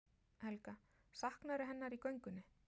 Helga: Saknarðu hennar í göngunni?